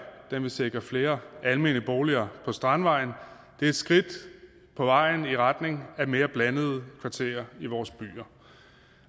den vil sikre flere almene boliger på strandvejen det er et skridt på vejen i retning af mere blandede kvarterer i vores byer